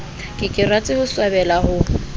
ke ke ra swabela ho